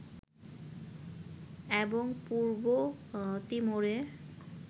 এবং পূর্ব তিমুরে